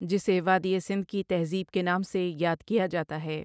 جسے وادی سندھ کی تہذیب کے نام سے یاد کیا جاتا ہے ۔